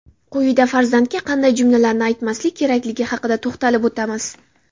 Quyida farzandga qanday jumlalarni aytmaslik kerakligi haqida to‘xtalib o‘tamiz.